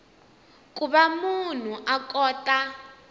ku va munhu a kota